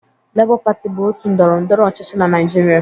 Lebọ pati bụ otu ndọrọndọrọ ọchịchị na Naịjịrịa.